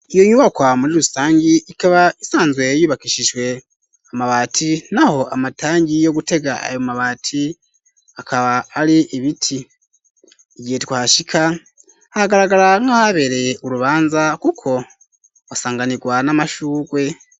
Iyo nyubakwa muri rusangi ikaba isanzwe yubakishijwe amabati naho amatangi yogutega ayo mabati akaba ari ibiti igihe twashika agaragara nka habereye urubanza kuko usanganirwa n'amashurwe.